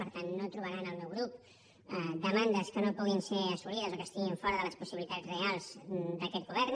per tant no trobarà en el meu grup demandes que no puguin ser assolides o que estiguin fora de les possibilitats reals d’aquest govern